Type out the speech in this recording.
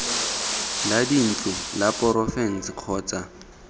la dintlo la porofense kgotsa